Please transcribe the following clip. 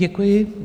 Děkuji.